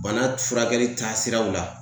Bana furakɛli taasiraw la